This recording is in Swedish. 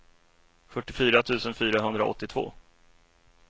fyrtiofyra tusen fyrahundraåttiotvå